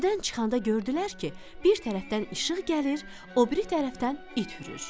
Meşədən çıxanda gördülər ki, bir tərəfdən işıq gəlir, o biri tərəfdən it hürür.